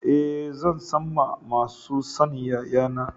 Eh, zan San ma masu sanyayan na.